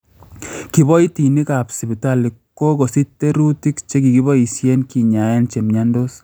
kiboitinik ap sipitali ko kokosich terutik chegipoisyen kinyaaen chemyontoos